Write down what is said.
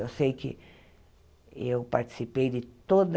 Eu sei que eu participei de toda